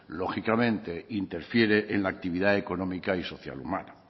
lógicamente interfiere en la actividad económica y social humana